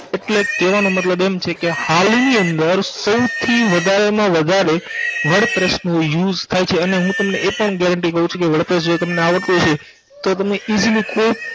એટલેકે કેવાનો મતલબ એમ છે કે હાલની અંદર સૌથી વધારે માં વધારે wordpress નો use થાય છે અને હું તમને એ પણ guarantee કઉ છું કે જો wordpress જો તમને આવડતું હસે તો તમને easily કોઈ